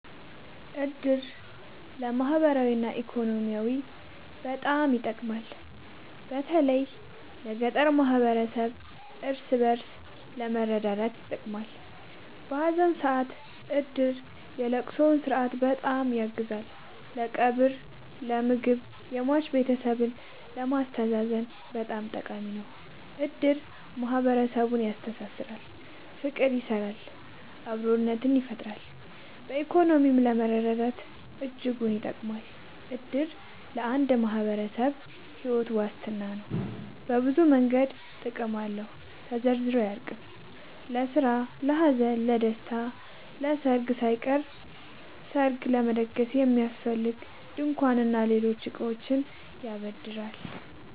እድር ለማህበራዊ እና ኢኮኖሚያዊ በጣም ይጠቅማል። በተለይ ለገጠር ማህበረሰብ እርስ በእርስ ለመረዳዳት ይጠቅማል። በሀዘን ሰአት እድር የለቅሶውን ስነስርዓት በጣም ያግዛል ለቀብር ለምግብ የሟች ቤተሰብን ለማስተዛዘን በጣም ጠቃሚ ነው። እድር ማህረሰብን ያስተሳስራል። ፍቅር ይሰራል አብሮነትን ይፈጥራል። በኢኮኖሚም ለመረዳዳት እጅጉን ይጠብማል። እድር ለአንድ ማህበረሰብ ሒወት ዋስትና ነው። በብዙ መንገድ ጥቅም አለው ተዘርዝሮ አያልቅም። ለስራ ለሀዘን ለደሰታ። ለሰርግ ሳይቀር ሰርግ ለመደገስ የሚያስፈልጉ ድንኳን እና ሌሎች እቃዎችን ያበድራል